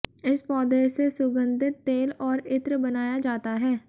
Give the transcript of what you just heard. इस पौधे से सुगंधित तेल और इत्र बनाया जाता है